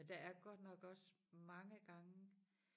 Men der er godt nok også mange gange